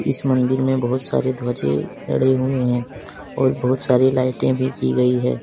इस मंदिर में बहुत सारे ध्वजें लगी जड़ी हुई हैं और बहुत सारी लाइटें भी दी गई हैं।